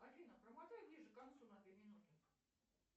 афина промотай ближе к концу на две минуты